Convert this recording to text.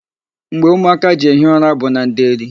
Mgbe ụmụaka a ji ehi ụra bụ na ndeeri.